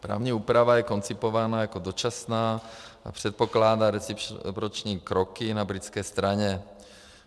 Právní úprava je koncipována jako dočasná a předpokládá reciproční kroky na britské straně.